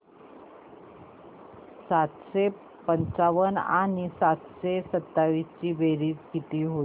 सातशे पंचावन्न आणि सातशे सत्तावीस ची बेरीज किती होईल